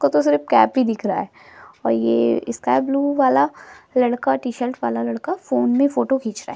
को तो सिर्फ कैप ही दिख रहा है और ये स्काई ब्लू वाला लड़का टीशर्ट वाला लड़का फ़ोन में फोटो खींच रहा है।